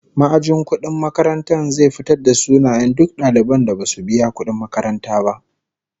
Ma'ajin kudin makarantar zai fitarvda sunayen duk daliban da basu biya kudin makaranta ba